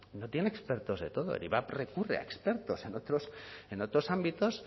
no tiene expertos de todo el ivap recurre a expertos en otros ámbitos